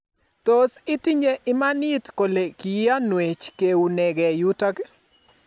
tos itinye imanit kole kiyanwech keunegei yutok